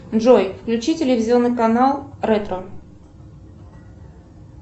джой включи телевизионный канал ретро